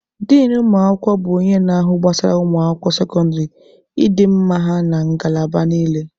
Din ụmụ akwụkwọ bụ onye na-ahụ gbasara ụmụ akwụkwọ sekọndịrị, ịdị mma ha na ngalaba niile.